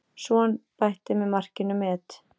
Son bætti með markinu met.